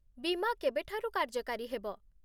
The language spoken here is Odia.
ବୀମା କେବେଠାରୁ କାର୍ଯ୍ୟକାରୀ ହେବ?